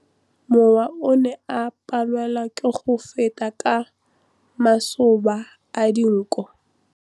Mowa o ne o palelwa ke go feta ka masoba a dinko.